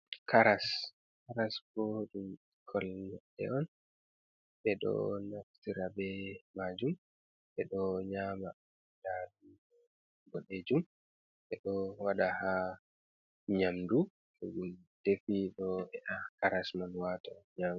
Karas, karas bo ɓekkon leɗɗe on, ɓe ɗo naftira be majum ɓe ɗo nyama ndadu bodejum ɓe ɗo waɗa ha nyamdu to ɗon defi ɗo he a karas man wata nyama.